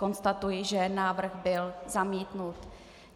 Konstatuji, že návrh byl zamítnut.